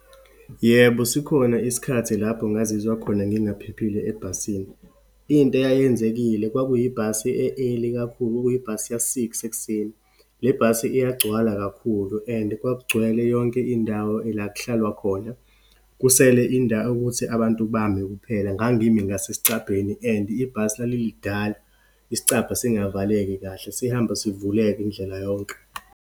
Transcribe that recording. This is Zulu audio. Yebo, sikhona isikhathi lapho ngazizwa khona ngingaphephile ebhasini. Into eyayenzekile, kwakuyibhasi e-early kakhulu, okuyibhasi ya-six ekuseni. Le bhasi iyagcwala kakhulu, and kwakugcwele yonke indawo la kuhlalwa khona, kusele indawo ukuthi abantu bame kuphela. Ngangimi ngasesicabheni and ibhasi lalilidala, isicabha singavaleki kahle, sihamba sivuleka indlela yonke.